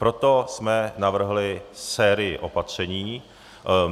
Proto jsme navrhli sérii opatření.